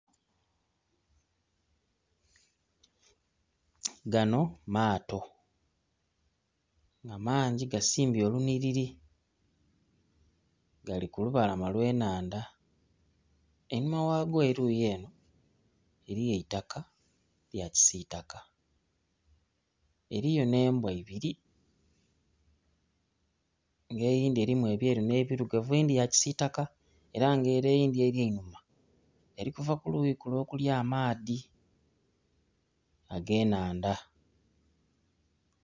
Ganho maato nga mangi gasimbye olunhiriri, gali ku lubalama lwe nhandha einhuma ghayo eriyi enho eriyo eitaka erya kitaka eriyo nhe mbwa ibiri nga eyindhi elimu ebyeru nhe birugavu eyindhi ya kisitaka era nga ere eyindhi eri einhuma eri kuba kuluyi lule oluli amaadhi age nhandha.